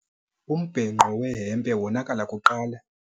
Umbhenqo wehempe wonakala kuqala.